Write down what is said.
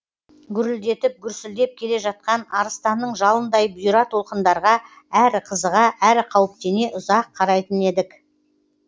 гүрілдетіп гүрсілдеп келе жатқан арыстанның жалындай бұйра толқындарға әрі қызыға әрі қауіптене ұзақ қарайтын едік